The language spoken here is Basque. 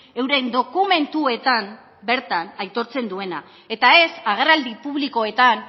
euren dokumentuetan bertan aitortzen duena eta ez agerraldi publikoetan